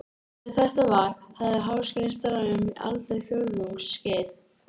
Þegar þetta var, hafði Háskólinn starfað um aldarfjórðungs skeið.